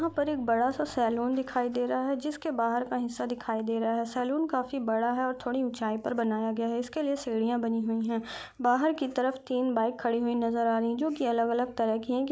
यहाँ पर एक बड़ा सा सलोन दिखाई दी रहा है जिसके बाहर का हिस्सा दिखाई दी रहा है सेलून काफी बड़ा है थोड़ी ऊंचाई पर बनाया गया है इस क लिए सीढ़ियां बनी हुई हैं बाहर की तरफ तीन बाइक खड़ी हुई नजर आ रही हैं जो की अलग अलग तरह की हैं क्योंकि--